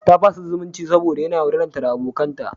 Ta fasa zumunci saboda yana yaudararta da abokanta.